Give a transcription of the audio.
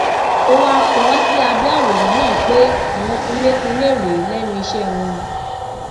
ó wáá kọ ọ sí abẹ àwòrán náà pé àwọn kunlékunlé rèé lẹnu iṣẹ wọn